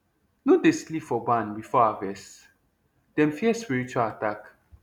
no dey sleep for barn before harvest dem fear spiritual attack